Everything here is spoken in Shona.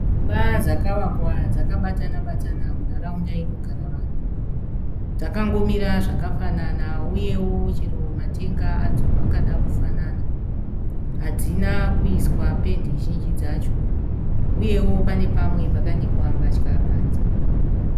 Dzimba dzakavakwa dzakabatana -batana munharaunda inogara vanhu. Dzakangomira zvakafanana uyewo chero matenga adzo akada kufanana. Hadzina kuiswa pendi zhinji dzacho uyewo pane pamwe pakanikwa mbatya panze.